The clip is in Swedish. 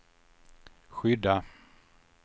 skydda